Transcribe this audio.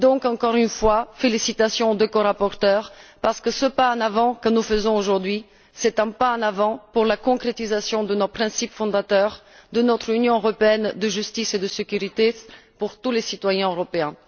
Donc, encore une fois, félicitations aux deux corapporteurs parce que ce pas en avant que nous faisons aujourd'hui, c'est un pas en avant dans la concrétisation des principes fondateurs de notre Union européenne de justice et de sécurité pour tous les citoyens européens.